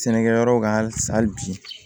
Sɛnɛkɛyɔrɔ kan halisa hali bi